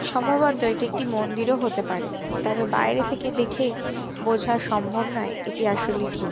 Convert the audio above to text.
সম্ভবত এটি একটি মন্দিরও হতে পারে তবে বাইরে থেকে দেখে বোঝা সম্ভব নয় এটি আসলে কি।